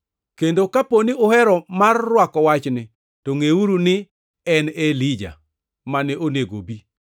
Kendo kaponi uhero mar rwako wachni to ngʼeuru ni en e Elija mane onego obi.